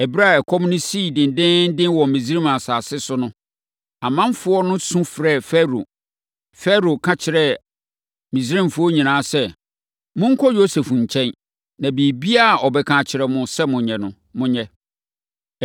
Ɛberɛ a ɛkɔm no sii dendeenden wɔ Misraim asase so no, ɔmanfoɔ no su frɛɛ Farao. Farao ka kyerɛɛ Misraimfoɔ nyinaa sɛ, “Monkɔ Yosef nkyɛn, na biribiara a ɔbɛka akyerɛ mo sɛ monyɛ no, monyɛ.”